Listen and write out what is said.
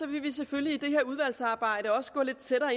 vil vi selvfølgelig i det her udvalgsarbejde også gå lidt tættere